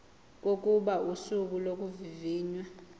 kokuba usuku lokuvivinywa